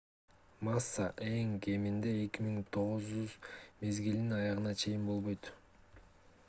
масса эң кеминде 2009 мезгилинин аягына чейин болбойт